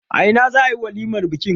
A ina za a yi walimar bikin?